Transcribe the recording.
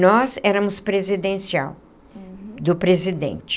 Nós éramos presidencial, do presidente.